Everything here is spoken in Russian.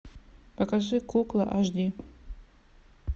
покажи кукла аш ди